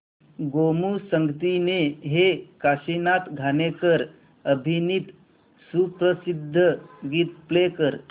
गोमू संगतीने हे काशीनाथ घाणेकर अभिनीत सुप्रसिद्ध गीत प्ले कर